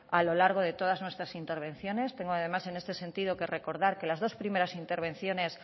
a lo largo de todas nuestras intervenciones tengo además en este sentido que recordar que las dos primeras intervenciones